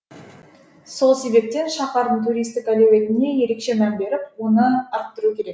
сол себептен шаһардың туристік әлеуетіне ерекше мән беріп оны арттыру керек